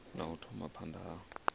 ya u thoma phanda ha